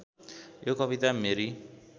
यो कविता मेरी